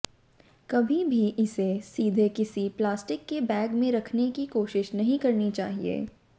कभी भी इसे सीधे किसी प्लास्टिक के बैग में रखने की कोशिश नहीं करनी चाहिए